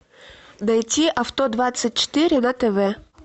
найти авто двадцать четыре на тв